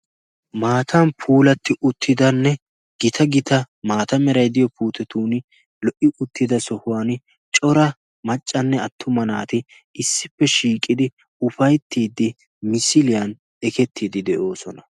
maatan puulatti uttidanne gita gita maata meray diyo puutetun lo'i uttida sohuwan cora maccanne attuma naati issippe shiiqidi ufayttiiddi misiliyan ekettiiddi de'oosona